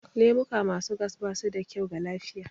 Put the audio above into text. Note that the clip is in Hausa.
Lemuka ma su gas ba su da kyau ga lafiya